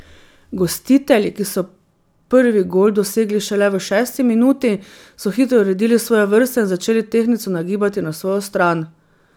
Gostitelji, ki so prvi gol dosegli šele v šesti minuti, so hitro uredili svoje vrste in začeli tehtnico nagibati na svojo stran.